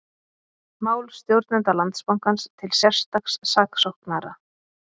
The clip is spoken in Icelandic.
Mál stjórnenda Landsbankans til sérstaks saksóknara